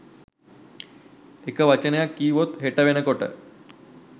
එක වචනයක් කීවොත් හෙට වෙන කොට